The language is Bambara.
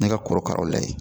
Ne ka korokaraw la ye